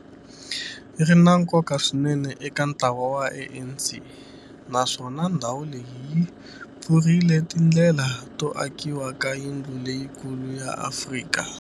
Ri na nkoka swinene eka ntlawa wa ANC, naswona ndhawu leyi yi pfurile tindlela to akiwa ka yindlu leyikulu ya Afrika.